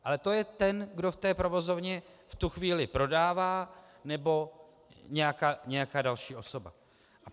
Ale to je ten, kdo v té provozovně v tu chvíli prodává, nebo nějaká další osoba.